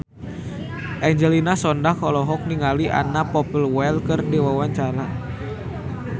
Angelina Sondakh olohok ningali Anna Popplewell keur diwawancara